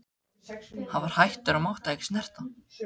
Hann var hættur og mátti ekki snerta.